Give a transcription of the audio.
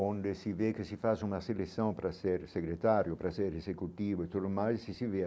Onde se vê que se faz uma seleção para ser secretário, para ser executivo, e tudo o mais se se vê.